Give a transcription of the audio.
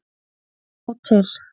Sjá til